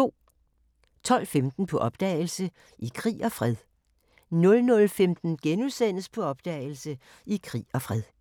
12:15: På opdagelse – I krig og fred 00:15: På opdagelse – I krig og fred *